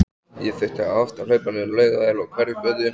Ég þurfti oft að hlaupa niður á Laugaveg og Hverfisgötu.